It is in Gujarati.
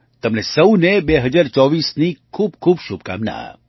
તમને સહુને 2024ની ખૂબ ખૂબ શુભકામના